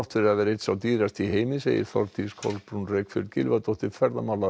fyrir að vera einn sá dýrasti í heimi þetta segir Þórdís Kolbrún Reykfjörð Gylfadóttir ferðamála